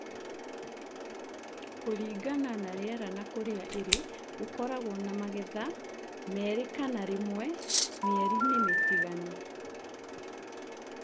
Kulingana na riera na kũria ĩrĩ , gokoragwo na magetha merĩ kana rĩmwe mĩerini mtiganu.